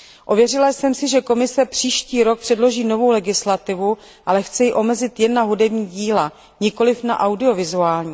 Ověřila jsem si, že Komise příští rok předloží novou legislativu, ale chce ji omezit jen na hudební díla, nikoli na díla audiovizuální.